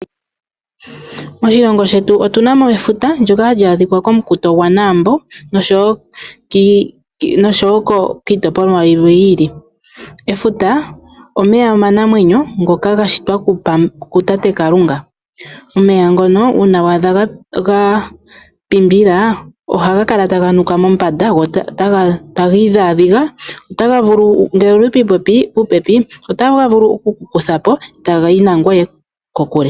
Moshingo shetu otuna mo efuta ndoka hali adhika komukuto gwanaambo oshowo kiitopolwa yimwe yi ili .Efuta omeya omanamwenyo ngoka ga shitwa kutate Kalunga ,omeya ngono uuna wa adha ga pimbila ohaga kala taga nuka mombanda ano ta gii dhaadhiga otaga vulu gekukuthepo ngele owuli popepi etagayi nangweye kokule.